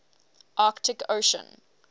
arctic ocean